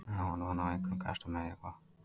Á hann von á einhverjum gestum eða hvað?